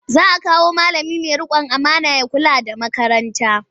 Za a kawo malami mai riƙon amana ya kula da makarantar.